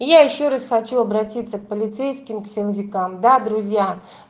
я ещё раз хочу обратиться к полицейским к силовикам да друзья